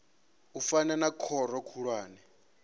u fana na khoro khulwane